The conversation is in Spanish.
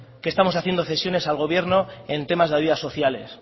que estamos haciendo cesiones al gobierno en temas de ayudas sociales